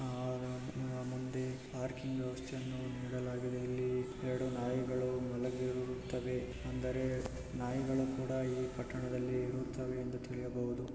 ಮುಂದೆ ಪಾರ್ಕಿಂಗ್ ವ್ಯವಸ್ಥೆಯನ್ನು ನೀಡಲಾಗಿದೆ ಇಲ್ಲಿ ಎರಡು ನಾಯಿಗಳು ಮಲಗಿರುತವೆ. ಅಂದರೆ ನಾಯಿಗಳು ಕೂಡಾ ಈ ಪಟ್ಟಣದಲ್ಲಿ ಇರುತ್ತವೆ ಎಂದು ತಿಳಿಯಬಹುದು.